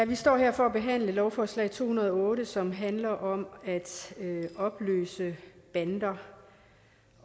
vi står her for at behandle lovforslag to hundrede og otte som handler om at opløse bander